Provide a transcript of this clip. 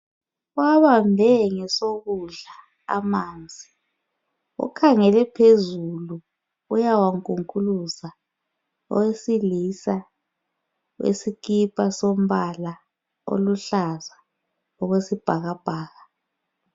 Uwabambe ngosokudla amanzi, ukhangele phezulu uyawankunkuluza owesilisa. Isikipa sompala oluhlaza okwesibhakabhaka .